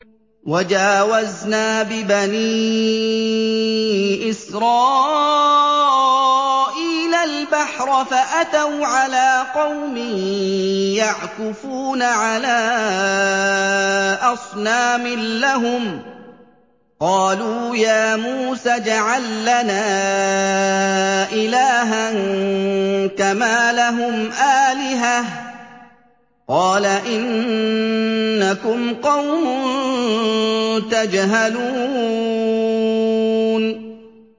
وَجَاوَزْنَا بِبَنِي إِسْرَائِيلَ الْبَحْرَ فَأَتَوْا عَلَىٰ قَوْمٍ يَعْكُفُونَ عَلَىٰ أَصْنَامٍ لَّهُمْ ۚ قَالُوا يَا مُوسَى اجْعَل لَّنَا إِلَٰهًا كَمَا لَهُمْ آلِهَةٌ ۚ قَالَ إِنَّكُمْ قَوْمٌ تَجْهَلُونَ